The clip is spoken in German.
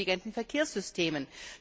mit intelligenten Verkehrssystemen.